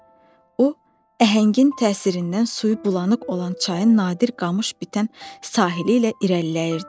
O əhəngin təsirindən suyu bulanıq olan çayın nadir qamış bitən sahili ilə irəliləyirdi.